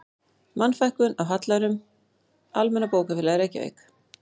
Mannfækkun af hallærum, Almenna bókafélagið, Reykjavík